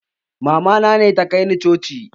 Mamana ne ta kai ni coci